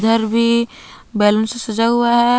भी बैलून से सजा हुआ है।